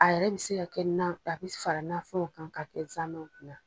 A yɛrɛ bi se ka kɛ nan, a bi fara nanfɛnw kan ka kɛ zamɛw kunna.